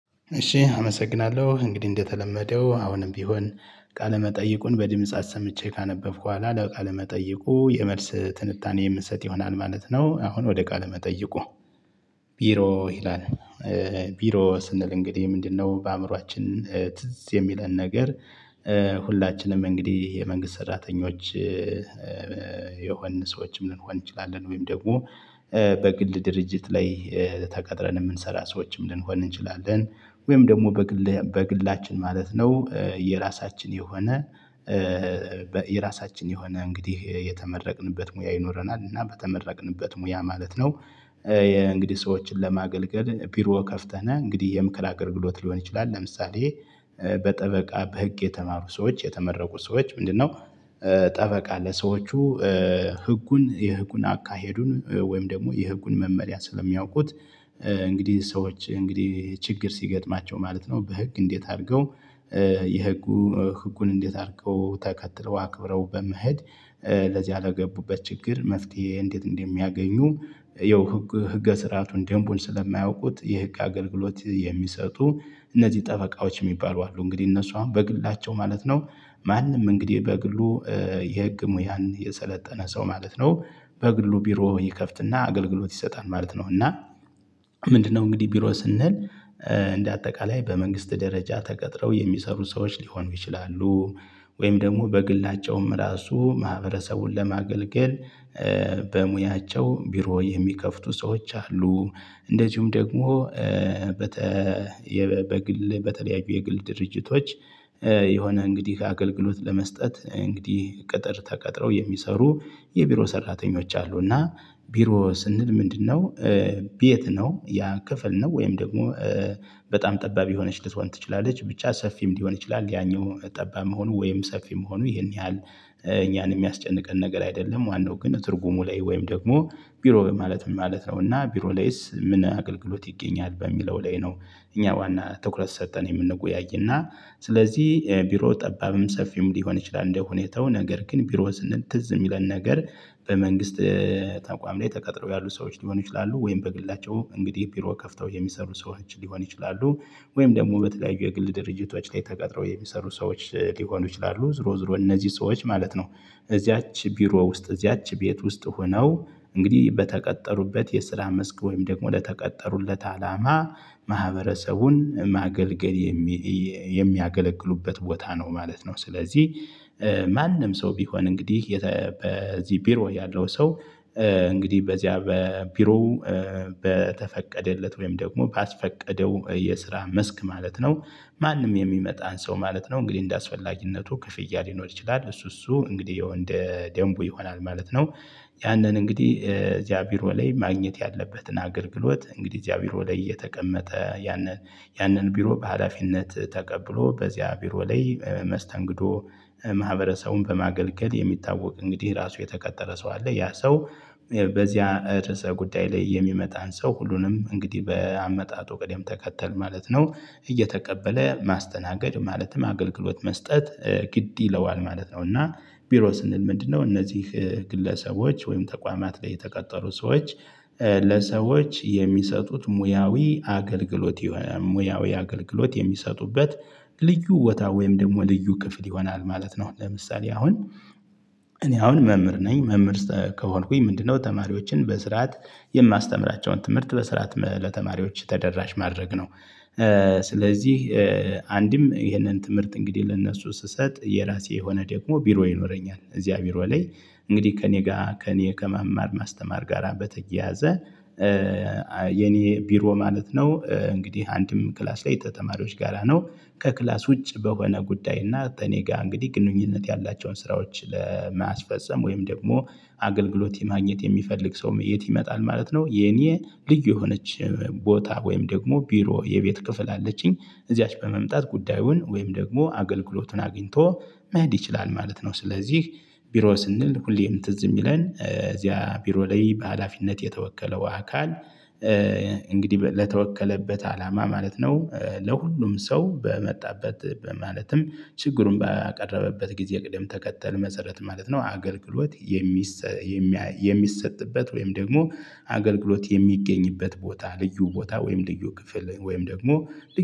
እሺ አመሰግናለሁ እንግዲህ እንደተለመደው አሁንም ቢሆን ቃለ መጠይቁን በድምጽ አሰምቼ ካነበብኩ በኋላ ለቃለ መጠይቁ የመልስ ትንታኔ የምሰጥ ይሆናል ማለት ነው። አሁን ወደ ቃለ መጠይቁ ቢሮ ይላል ቢሮ ስንል እንግዲህ ምንድነው? በአእምሮአችን ትዝ የሚለን ነገር። ሁላችንም እንግዲህ የመንግስት ሰራተኞች የሆንን ሰዎችም ልንሆን እንችላለን ወይም ደግሞ በግል ድርጅት ላይ ተቀጥረን የምንሰራ ሰዎችም ልንሆን እንችላለን። ወይም ደግሞ በግል በግላችን ማለት ነው። የራሳችን የሆነ የራሳችን የሆነ እንግዲህ የተመረቅንበት ሙያ ይኖረናል እና በተመረቅንበት ሙያ ማለት ነው። የእንግዲህ ሰዎችን ለማገልገል ቢሮ ከፍተን እንግዲህ የምከር አገልግሎት ሊሆን ይችላል። ለምሳሌ በጠበቃ በህግ የተማሩ ሰዎች የተመረቁ ሰዎች ምንድነው? ጠበቃ ለሰዎቹ ህጉን የህጉን አካሄዱን ወይም ደግሞ የህጉን መመርያ ስለሚያውቁት። እንግዲህ ሰዎች እንግዲህ ችግር ሲገጥማቸው ማለት ነው በህግ እንዴት አድርገው የህጉ ህጉን እንዴት አድርገው ተከትለው አክብረው በመሄድ ለዚያ ለገቡበት ችግር መፍትሄ እንዴት እንደሚያገኙ። ይኸው ህገ ስርአቱን ደንቡን ስለማያውቁት የህግ አገልግሎት የሚሰጡ እነዚህ ጠበቃዎች የሚባሉ አሉ። እንግዲህ እነሱ አሁን በግላቸው ማለት ነው። ማንም እንግዲህ በግሉ የህግ ሙያን የሰለጠነ ሰው ማለት ነው። በግሉ ቢሮ ይከፍትና አገልግሎት ይሰጣል ማለት ነው። እና ምንድነው? እንግዲህ ቢሮ ስንል እንደ አጠቃላይ በመንግስት ደረጃ ተቀጥረው የሚሰሩ ሰዎች ሊሆኑ ይችላሉ። ወይም ደግሞ በግላቸውም ራሱ ማህበረሰቡን ለማገልገል በሙያቸው ቢሮ የሚከፍቱ ሰዎች አሉ። እንደዚሁም ደግሞ በግል በተለያዩ የግል ድርጅቶች የሆነ እንግዲህ አገልግሎት ለመስጠት እንግዲህ ቅጥር ተቀጥረው የሚሰሩ የቢሮ ሰራተኞች አሉ። እና ቢሮ ስንል ምንድነው? ቤት ነው ያ ክፍል ነው ወይም ደግሞ በጣም ጠባብ የሆነች ልትሆን ትችላለች ብቻ ሰፊም ሊሆን ይችላል ያኛው ጠባብ መሆኑ ወይም ሰፊ መሆኑ ይሄን ያህል እኛን የሚያስጨንቀን ነገር አይደለም። ዋነው ግን ትርጉሙ ላይ ወይም ደግሞ ቢሮ ማለት ምን ማለት ነው? እና ቢሮ ላይስ ምን አገልግሎት ይገኛል በሚለው ላይ ነው። እኛ ዋና ትኩረት ሰጠን የምንወያይና ስለዚህ ቢሮ ጠባብም ሰፊም ሊሆን ይችላል። እንደሁኔታው ነገር ግን ቢሮ ስንል ትዝ የሚለን ነገር በመንግስት ተቋም ላይ ተቀጥረው ያሉ ሰዎች ሊሆኑ ይችላሉ ወይም በግላቸው እንግዲህ ቢሮ ከፍተው የሚሰሩ ሰዎች ሊሆን ይችላሉ። ወይም ደግሞ በተለያዩ የግል ድርጅቶች ላይ ተቀጥረው የሚሰሩ ሰዎች ሊሆኑ ይችላሉ። ዞሮ ዞሮ እነዚህ ሰዎች ማለት ነው። እዚያች ቢሮ ውስጥ እዚያች ቤት ውስጥ ሆነው እንግዲህ በተቀጠሩበት የስራ መስክ ወይም ደግሞ ለተቀጠሩለት አላማ ማህበረሰቡን ማገልገል የሚያገለግሉበት ቦታ ነው ማለት ነው። ስለዚህ ማንም ሰው ቢሆን እንግዲህ በዚህ ቢሮ ያለው ሰው እንግዲህ በዚያ በቢሮው በተፈቀደለት ወይም ደግሞ ባስፈቀደው የስራ መስክ ማለት ነው። ማንም የሚመጣን ሰው ማለት ነው እንግዲህ እንደ አስፈላጊነቱ ክፍያ ሊኖር ይችላል እሱ እሱ እንግዲህ ያው እንደ ደንቡ ይሆናል ማለት ነው። ያንን እንግዲህ እዚያ ቢሮ ላይ ማግኘት ያለበትን አገልግሎት እንግዲህ እዚያ ቢሮ ላይ የተቀመጠ ያንን ያንን ቢሮ በሃላፊነት ተቀብሎ በዚያ ቢሮ ላይ በመስተንግዶ ማህበረሰቡን በማገልገል የሚታወቅ እንግዲህ ራሱ የተቀጠረ ሰው አለ ያ ሰው በዚያ እርዕስ ጉዳይ ላይ የሚመጣን ሰው ሁሉንም እንግዲህ በአመጣጡ ቅደም ተከተል ማለት ነው እየተቀበለ ማስተናገድ ማለትም አገልግሎት መስጠት ግድ ይለዋል ማለት ነው። እና ቢሮ ስንል ምንድነው? እነዚህ ግለሰቦች ወይም ተቋማት ላይ የተቀጠሩ ሰዎች ለሰዎች የሚሰጡት ሙያዊ አገልግሎት የሆነ ሙያዊ አገልግሎት የሚሰጡበት ልዩ ቦታ ወይም ደግሞ ልዩ ክፍል ይሆናል ማለት ነው። ለምሳሌ አሁን እኔ አሁን መምህር ነኝ መምህር ከሆንኩኝ ምንድነው ተማሪዎችን በስርዓት የማስተምራቸውን ትምህርት በስርዓት ለተማሪዎች ተደራሽ ማድረግ ነው። ስለዚህ አንድም ይሄንን ትምህርት እንግዲህ ለእነርሱ ስሰጥ የራሴ የሆነ ደግሞ ቢሮ ይኖረኛል እዚያ ቢሮ ላይ እንግዲህ ከእኔ ጋር ከእኔ ከመማር ማስተማር ጋር በተያያዘ የኔ ቢሮ ማለት ነው። እንግዲህ አንድም ክላስ ላይ ተተማሪዎች ጋራ ነው። ከክላስ ውጭ በሆነ ጉዳይ እና ከእኔ ጋር እንግዲህ ግንኙነት ያላቸውን ስራዎች ለማስፈፀም ወይም ደግሞ አገልግሎት የማግኘት የሚፈልግ ሰውም የት ይመጣል ማለት ነው። የኔ ልዩ የሆነች ቦታ ወይም ደግሞ ቢሮ የቤት ክፍል አለችኝ እዚያች በመምጣት ጉዳዩን ወይም ደግሞ አገልግሎቱን አግኝቶ መሄድ ይችላል። ማለት ነው። ስለዚህ ቢሮ ስንል ሁሌም ትዝ የሚለን እዚያ ቢሮ ላይ በሃላፊነት የተወከለው አካል እንግዲህ ለተወከለበት አላማ ማለት ነው። ለሁሉም ሰው በመጣበት ማለትም ችግሩን ባቀረበበት ጊዜ ቅደም ተከተል መሰረት ማለት ነው። አገልግሎት የሚሰጥበት ወይም ደግሞ አገልግሎት የሚገኝበት ቦታ ልዩ ቦታ ወይም ልዩ ክፍል ወይም ደግሞ